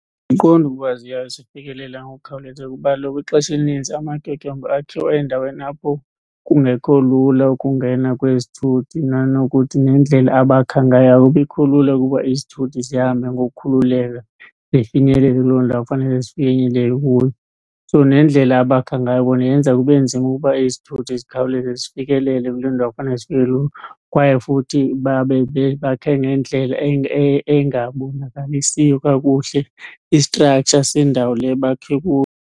Andiqondi ukuba ziyasifikelela ngokukhawuleza kuba kaloku ixesha elininzi amatyotyombe akhiwa endaweni apho kungekho lula ukungena kwezithuthi. Nanokuthi nendlela abakha ngayo akubikho lula ukuba izithuthi zihambe ngokukhululeka zifinyelele kuloo ndawo kufanele zifinyelele kuyo. So nendlela abakha ngayo bona yenza kube nzima ukuba izithuthi zikhawuleze zifikelele kule ndawo kufanele zifike kuyo. Kwaye futhi babe bakhe ngendlela engabonakalisiyo kakuhle i-structure sendawo le bakhe kuyo.